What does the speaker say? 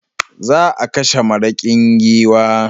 Za a kashe maraƙin giwa.